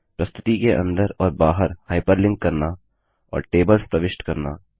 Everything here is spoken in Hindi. प्रस्तुति के अंदर और बाहर हाइपरलिंक करना और टेबल्स प्रविष्ट करना